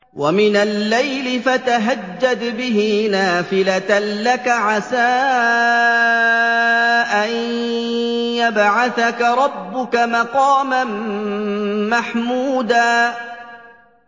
وَمِنَ اللَّيْلِ فَتَهَجَّدْ بِهِ نَافِلَةً لَّكَ عَسَىٰ أَن يَبْعَثَكَ رَبُّكَ مَقَامًا مَّحْمُودًا